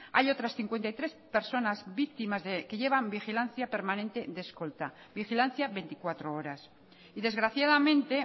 hay otras cincuenta y tres personas víctimas que llevan vigilancia permanente de escolta vigilancia veinticuatro horas y desgraciadamente